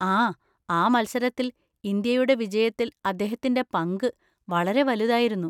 ആ, ആ മത്സരത്തിൽ ഇന്ത്യയുടെ വിജയത്തിൽ അദ്ദേഹത്തിൻ്റെ പങ്ക് വളരെ വലുതായിരുന്നു.